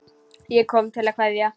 Ég kom til að kveðja.